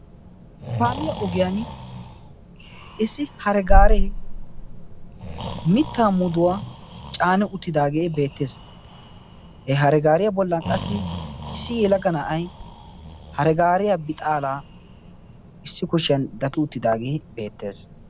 kaamiyaa ogiyan issi hare gaaree mitta muduwaa caane uttidaagee beettees. he hara gaariyaa bollan qassi issi yelagga na7ay hare gaariya bixaalaa issi kushiyan dafi uttidaagee beettees.